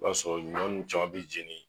O y'a sɔrɔ ɲɔ nn caman be jeni